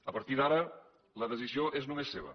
a partir d’ara la decisió és nomes seva